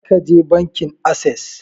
Kar ka je bankin assess!